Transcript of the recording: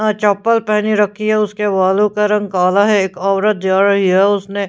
चप्पल पहनी रखी है उसके बालों का रंग काला है एक औरत जा रही है उसने--